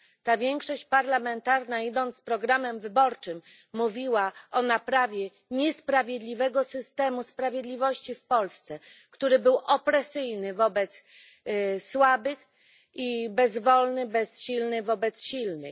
Ta większość parlamentarna, idąc za programem wyborczym, mówiła o naprawie niesprawiedliwego systemu sprawiedliwości w Polsce, który był opresyjny wobec słabych i bezsilny wobec silnych.